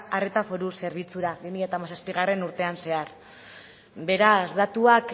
arreta foru zerbitzura bi mila hamazazpigarrena urtean zehar beraz datuak